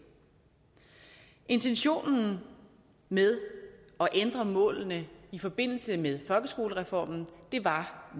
intentionen med at ændre målene i forbindelse med folkeskolereformen var